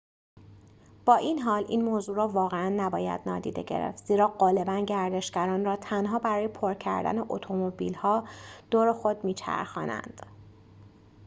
با این‌حال این موضوع را واقعاً نباید نادیده گرفت زیرا غالباً گردشگران را تنها برای پر کردن اتومبیل‌ها دور خود می‌چرخانند